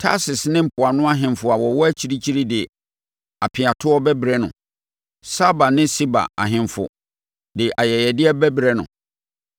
Tarsis ne mpoano ahemfo a wɔwɔ akyirikyiri de apeatoɔ bɛbrɛ no; Saba ne Seba ahemfo de ayɛyɛdeɛ bɛbrɛ no.